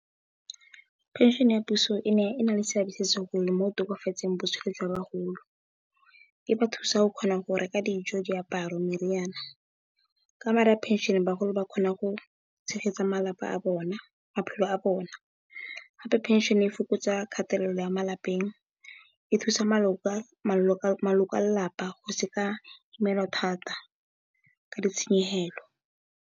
Phenšene ya puso e na le seabe se se segolo mo go tokafatseng botshelo jwa bagolo e ba thusa go kgona go reka dijo, diaparo, meriana. Ka madi a phenšene bagolo ba kgona go tshegetsa malapa a bona, maphelo a bona gape phenšene e fokotsa kgatelelo ya malapeng, e thusa maloko a lelapa go sekamelwa thata ka ditshenyegelo.